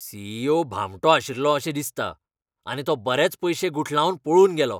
C. E. O. भामटो आशिल्लो अशें दिसता आनी तो बरेच पयशे गुठलावन पळून गेलो.